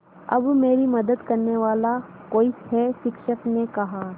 अब मेरी मदद करने वाला कोई है शिक्षक ने कहा